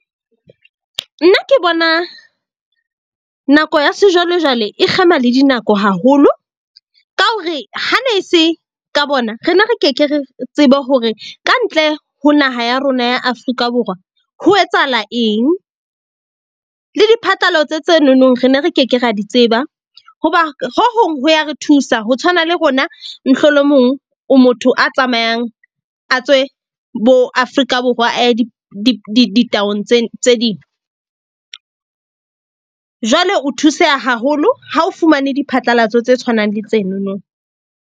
Nna ke bona nako ya sejwalejwale e kgema le dinako haholo. Ka ho re hane se ka bona, re ne re ke ke ra tseba hore kantle ho naha ya rona ya Afrika Borwa, ho etsahala eng. Le diphatlalatso tse nonong ne re ke ke ra di tseba hoba ho hong ho ya re thusa. Ho tshwana le rona mohlolomong o motho a tsamayang, a tswe bo Afrika Borwa, a ye tse ding. Jwale o thuseha haholo ha o fumane diphatlalatso tse tshwanang le tsenono.